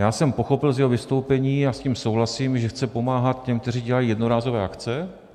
Já jsem pochopil z jeho vystoupení, a s tím souhlasím, že chce pomáhat těm, kteří dělají jednorázové akce.